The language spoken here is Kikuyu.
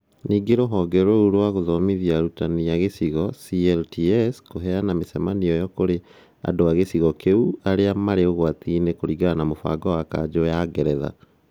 Ningĩ rũhonge rũu nĩ rũgũthomithia arutani a gĩcigo (CLTs) kũheana mĩcemanio ĩyo kũrĩ andũ a gĩcigo kĩu arĩa marĩ ũgwati-inĩ kũringana na mũbango wa kanjo ya ũngeretha